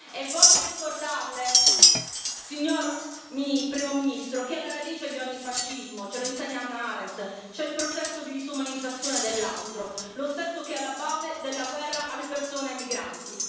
E voglio ricordarle, signor Primo ministro, che alla radice di ogni fascismo ce lo insegna Hannah Arendt c'è il processo di disumanizzazione dell'altro, lo stesso che è alla base della guerra alle persone e ai migranti.